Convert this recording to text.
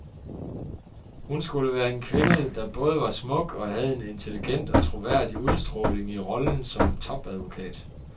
Hun skulle være en kvinde, der både var smuk og havde en intelligent og troværdig udstråling i rollen som topadvokat.